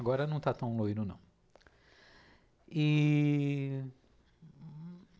Agora não está tão loiro, não. E...